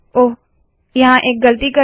ओह यहाँ एक गलती कर दी